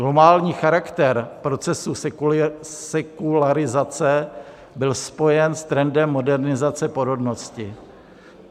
Globální charakter procesu sekularizace byl spojen s trendem modernizace porodnosti.